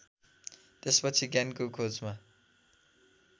त्यसपछि ज्ञानको खोजमा